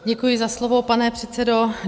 Děkuji za slovo, pane předsedo.